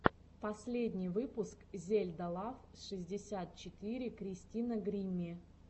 последний выпуск зельда лав шестьдесят четыре кристина гримми